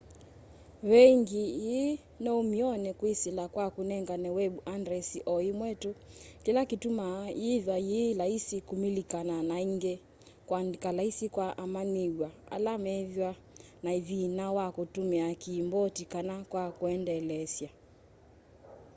veengyi ii noumyone kwisila kwa kunengane web andresi o imwe tu kila kitumaa yithwa yi laisi kumililikana na ingi kuandika laisi kwa amanyiw'a ala methwa na thina wa kutumia kiimboti kana kwa kuendelesya